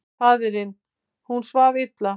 Faðirinn: Hún svaf illa.